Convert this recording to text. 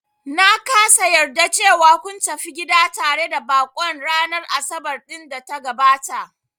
Na kasa yarda cewa kun tafi gida tare da baƙon ranar Asabar ɗin da ta gabata